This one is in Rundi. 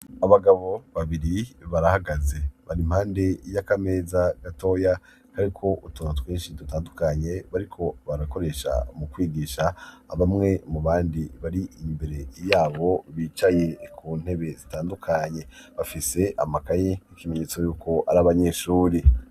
Abagabo babiri barahagaze bari impande y'akameza gatoya kariko utuntu twinshi dutandukanye, bariko barakoresha mu kwigisha abamwe mu bandi bari imbere yabo bicaye ku ntebe zitandukanye, bafise amakaye ikimenyetso yuko ari abanyeshure.